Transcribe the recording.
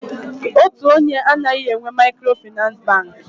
Otu onye anaghị enwe Maịkrofịnansị Bankị.